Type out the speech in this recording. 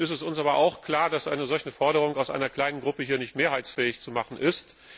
Es ist uns aber auch klar, dass eine solche Forderung aus einer kleinen Fraktion nicht mehrheitsfähig zu machen ist.